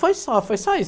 Foi só, foi só isso.